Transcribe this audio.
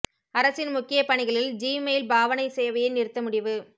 அரசின் முக்கிய பணிகளில் ஜி மெயில் பாவனைச் சேவையை நிறுத்த முடிவு